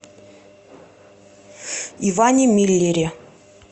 иване миллере